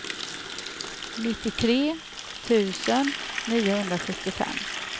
nittiotre tusen niohundrasjuttiofem